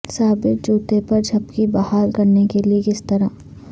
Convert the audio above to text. سابر جوتے پر جھپکی بحال کرنے کے لئے کس طرح